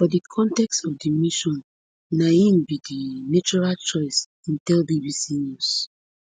for di context of di mission na im be di natural choice im tell bbc news